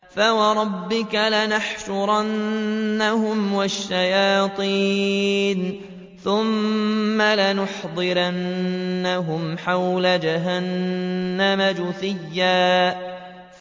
فَوَرَبِّكَ لَنَحْشُرَنَّهُمْ وَالشَّيَاطِينَ ثُمَّ لَنُحْضِرَنَّهُمْ حَوْلَ جَهَنَّمَ جِثِيًّا